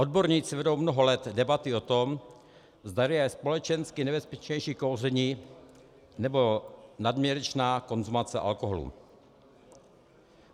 Odborníci vedou mnoho let debaty o tom, zdali je společensky nebezpečnější kouření nebo nadměrečná konzumace alkoholu.